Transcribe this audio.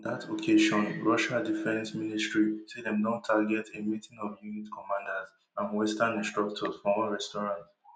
on dat occasion russia defence ministry say dem don target a meeting of unit commanders and western instructors for one restaurant